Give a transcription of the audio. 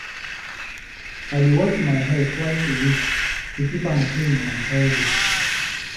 I dey wash my hair twice a week, to keep am clean and healthy.